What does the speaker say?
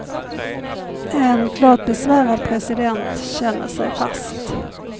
En klart besvärad president känner sig fast.